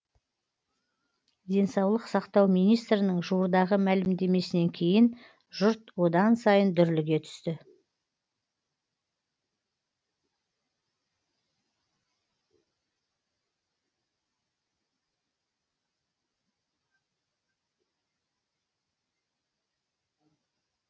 денсаулық сақтау министрінің жуырдағы мәлімдемесінен кейін жұрт одан сайын дүрліге түсті